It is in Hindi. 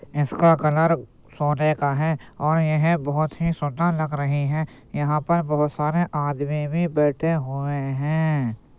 इसका कलर सोने का है और यह बोहोत ही सुंदर भी लग रही है। यहाँ पर बहोत सारे आदमी भी बैठे हुए हैं।